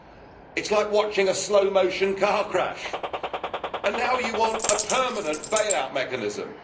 It is like watching a slow motion car crash and now you want a permanent bail out mechanism.